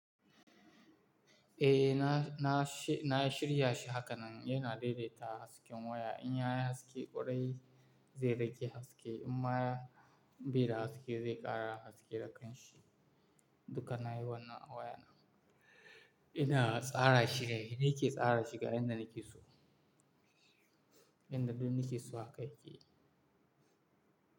Eh, na, na shi-- na shirya shi hakanan. Yana daidaita hasken waya. In ya yi haske ƙwarai, zai rage haske. In ma bai da haske, zai ƙara haske da kanshi. Duka na yi wannan a waya na Ina tsara shi dai, ni ke tsara shi ga inda nake so. Inda duk nake so haka yake.